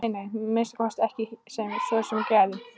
Nei, nei, að minnsta kosti ekki svo heitið gæti.